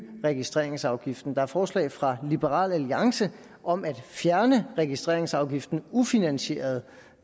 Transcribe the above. registreringsafgiften der er forslag fra liberal alliance om at fjerne registreringsafgiften ufinansieret